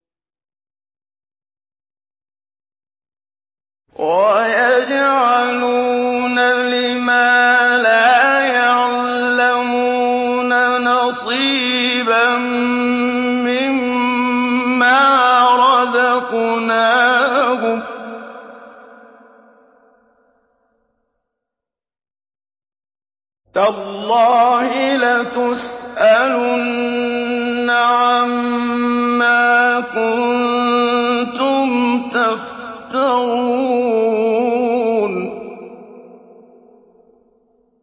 وَيَجْعَلُونَ لِمَا لَا يَعْلَمُونَ نَصِيبًا مِّمَّا رَزَقْنَاهُمْ ۗ تَاللَّهِ لَتُسْأَلُنَّ عَمَّا كُنتُمْ تَفْتَرُونَ